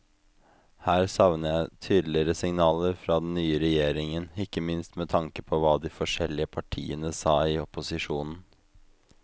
Her savner jeg tydeligere signaler fra den nye regjeringen, ikke minst med tanke på hva de forskjellige partiene sa i opposisjon.